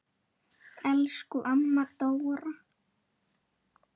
Elsku amma Dóra.